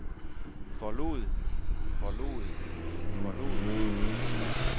forlod forlod forlod